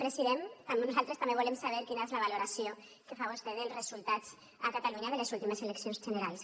president nosaltres també volem saber quina és la valoració que fa vostè dels resultats a catalunya de les últimes eleccions generals